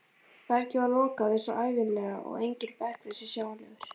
Bergið var lokað eins og ævinlega og enginn bergrisi sjáanlegur.